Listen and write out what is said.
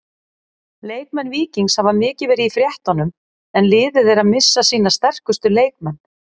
Leikmenn Víkings hafa mikið verið í fréttunum en liðið er að missa sína sterkustu leikmenn.